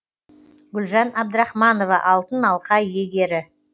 гүлжан абдрахманова алтын алқа иегері